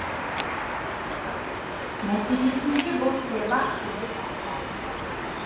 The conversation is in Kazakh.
нәтижесінде бұл саябақ түнде жарқырап тұрады